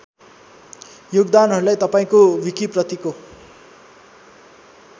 योगदानहरू तपाईँको विकिप्रतिको